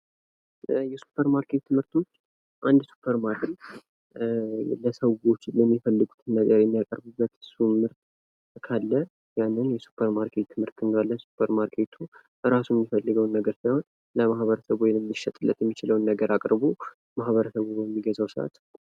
የሱፐርማርኬት ምርቶች አንድ ሱፐርማርኬት ለሰዎች የሚፈልጉትን ነገር የሚያቀርቡበት ምርት ካለ ያንን የሱፐርማርኬት ምርት እንለዋለን። ቤቱ እራሱ የሚፈልገዉን ነገር ሳይሆን ለማህበረሰቡ ሊሸጥለት የሚችለዉን ነገር አቅርቦ ማህበረሰቡ በሚገዛዉ ሰዓት ...